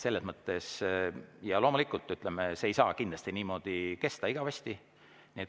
Loomulikult see ei saa niimoodi kesta igavesti.